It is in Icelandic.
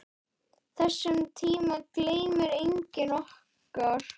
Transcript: Þessum tíma gleymir enginn okkar.